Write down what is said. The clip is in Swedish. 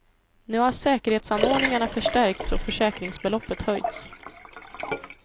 Nu har säkerhetsanordningarna förstärkts och försäkringsbeloppet höjts.